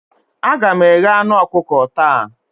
Aga m eghe anu ọkụkọ taa